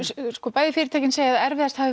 bæði fyrirtækin segja að erfiðast hafi